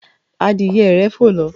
adìye rẹ fò ló.